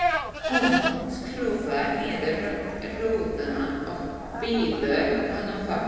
Hún skrúfar niður rúðuna og býður honum far.